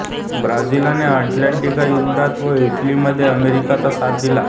ब्राझीलने अटलांटिकच्या युद्धात व इटलीमध्ये अमेरिकेचा साथ दिला